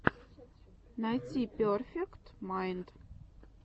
найти перфект майнд